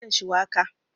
Na dafa miyan shuwaka